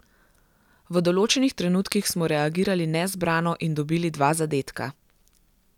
V določenih trenutkih smo reagirali nezbrano in dobili dva zadetka.